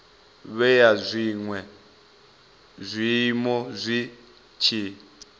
vhea zwinwe zwiiimo zwi tshi